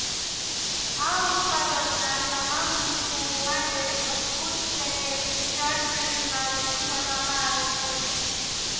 આ ઉત્પાદકના તમામ ઋતુઓ માટે અદભૂત જેકેટ વિશાળ શ્રેણીમાં રજૂ કરવામાં આવે છે